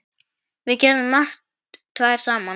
Við gerðum margt tvær saman.